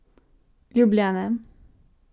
Ljubljana.